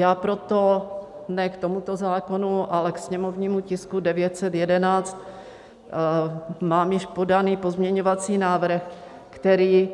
Já proto ne k tomuto zákonu, ale ke sněmovnímu tisku 911 mám již podaný pozměňovací návrh, který